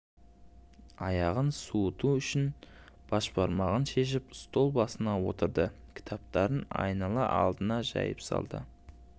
аяғын суыту үшін башмағын шешіп стол басына отырды кітаптарын айнала алдына жайып салды